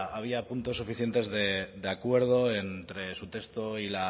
había puntos suficientes de acuerdo entre su texto